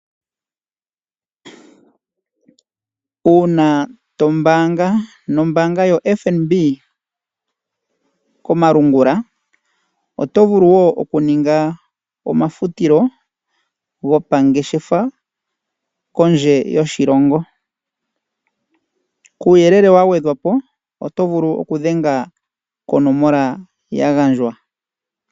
Una to mbaanga nombaanga yoFNB komalungula oto vulu wo oku ninga omafutilo gopangeshefa kondje yoshilongo. Kuuyelele wa gwedhwapo oto vulu oku dhenga konomola yagandjwa.